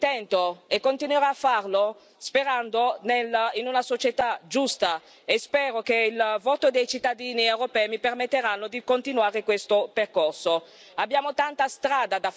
Continuerò nel mio intento e continuerò a farlo sperando in una società giusta e spero che il voto dei cittadini europei mi permetterà di continuare questo percorso.